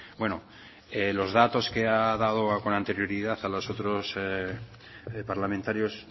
bueno los datos que ha dado con anterioridad a los otros parlamentarios